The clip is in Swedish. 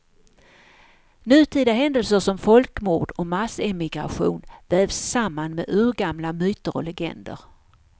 Nutida händelser som folkmord och massemigration vävs samman med urgamla myter och legender.